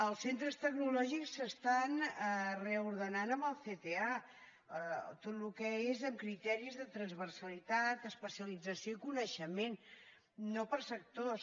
els centres tecnològics s’estan reordenant amb el cta tot el que són criteris de transversalitat especialització i coneixement no per sectors